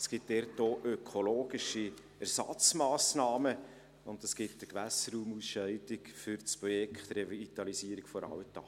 Es gibt dort auch ökologische Ersatzmassnahmen, und es gibt eine Gewässerraumausscheidung für das Projekt der Revitalisierung der Altache.